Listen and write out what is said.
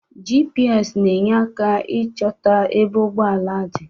GPS ne enyere aka ịchota ebe ụgbọala dị